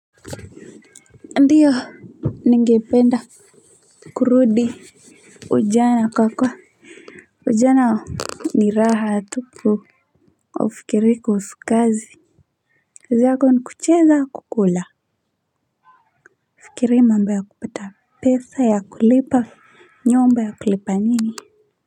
Ndiyo ningependa kurudi ujana kwa kuwa ujana ni raha tupu haufikirii kuhusu kazi kazi yako ni kucheza na kukula haufikirii mambo ya kupata pesa ya kulipa nyumba ya kulipa nini.